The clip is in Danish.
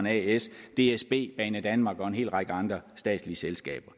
as dsb banedanmark og en hel række andre statslige selskaber